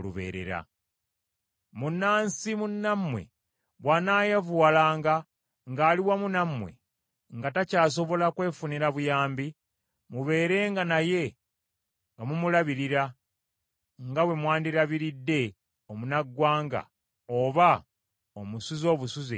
“Munnansi munnammwe bw’anaayavuwalanga ng’ali wamu nammwe, nga takyasobola kwefunira buyambi, mubeerenga naye nga mumulabirira nga bwe mwandirabiridde omunnaggwanga oba omusuze obusuze ali mu mmwe.